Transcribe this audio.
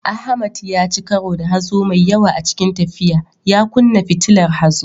Ahmad ya ci karo da hazo mai yawa a cikin tafiya, ya kunna fitilar hazo.